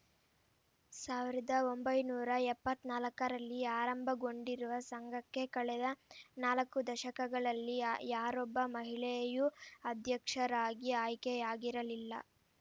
ಸಾವಿರದ ಒಂಬೈನೂರ ಎಪ್ಪತ್ತ್ ನಾಲ್ಕರಲ್ಲಿ ಆರಂಭಗೊಂಡಿರುವ ಸಂಘಕ್ಕೆ ಕಳೆದ ನಾಲ್ಕು ದಶಕಗಳಲ್ಲಿ ಯಾ ಯಾರೊಬ್ಬ ಮಹಿಳೆಯೂ ಅಧ್ಯಕ್ಷರಾಗಿ ಆಯ್ಕೆಯಾಗಿರಲಿಲ್ಲ